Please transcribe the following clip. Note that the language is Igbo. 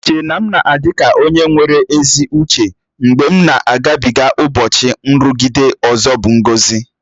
Iche na m na-adị ka onye nwere ezi uche mgbe m na-agabịge ụbọchị nrụgide ọzọ bụ ngọzi